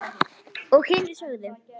Og hinir sögðu: